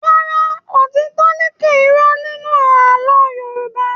Rárá, òtítọ́ ń lékè irọ́ nínú àlọ́ Yorùbá.